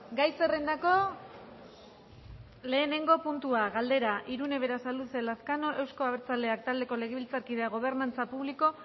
gai zerrendako lehenengo puntua galdera irune berasaluze lazkano euzko abertzaleak taldeko legebiltzarkideak gobernantza publiko